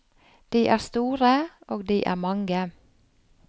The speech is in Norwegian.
De er store, og de er mange.